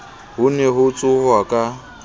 ho ne ho tsohwa ka